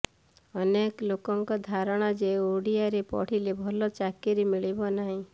ଅନେକ ଲୋକଙ୍କ ଧାରଣା ଯେ ଓଡ଼ିଆରେ ପଢ଼ିଲେ ଭଲ ଚାକିରି ମିଳିବ ନାହିଁ